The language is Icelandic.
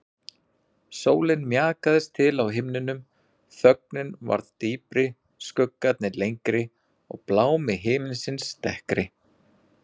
Sólin mjakaðist til á himninum, þögnin varð dýpri, skuggarnir lengri og blámi himinsins dekkri.